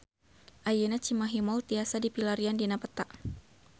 Ayeuna Cimahi Mall tiasa dipilarian dina peta